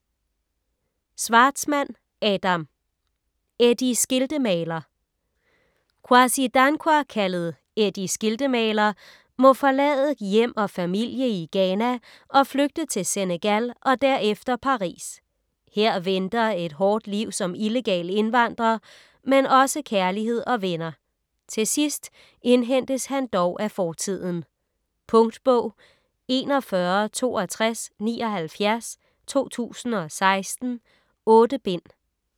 Schwartzman, Adam: Eddie Skiltemaler Kwasi Dankwa, kaldet Eddie Skiltemaler, må forlade hjem og familie i Ghana og flygte til Senegal og derefter Paris. Her venter et hårdt liv som illegal indvandrer, men også kærlighed og venner. Til sidst indhentes han dog af fortiden. Punktbog 416276 2016. 8 bind.